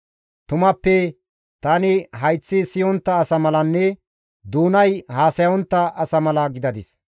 Tumappe tani hayththi siyontta asa malanne doonay haasayontta asa mala gidadis.